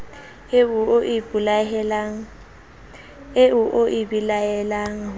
eo o e belaelang ho